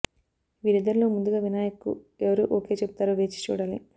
వీరిద్దరిలో ముందుగా వినాయక్ కు ఎవరు ఓకే చెబుతారో వేచి చూడాలి